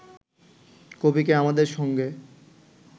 কবিকে আমাদের সঙ্গে